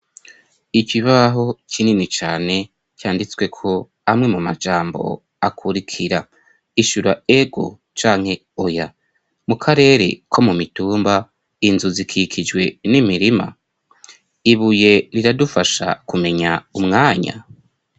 Ik ibaho kinini cane canditsweko amwe mu majambo akurikira ishura ego canke oya mu karere ko mu mitumba inzu zikikijwe n'imirima ibuye riradufasha kumenya umwanya.